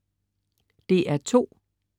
DR2: